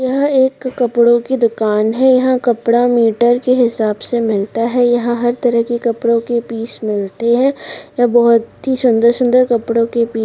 यह एक कपड़ो की दुकान है यहा कपड़ा मीटर के हिसाब से मिलता है यहा हर तरह के कपड़ो के पीस मिलते है बहुत ही सुंदर-सुंदर कपड़ो के पी--